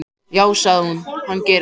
Já, sagði hún, hann gerir það.